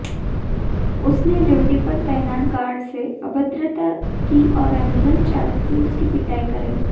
उसने ड्यूटी पर तैनात गॉर्ड से अभद्रता की और एंबुलेंस चालक से उसकी पिटाई कराई